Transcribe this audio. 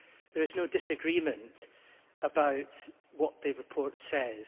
There is no disagreement about what the report says.